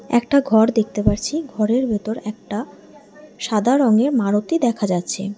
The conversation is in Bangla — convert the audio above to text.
একটা ঘর দেখতে পারছি ঘরের ভেতর একটা সাদা রংয়ের মারতি দেখা যাচ্ছে।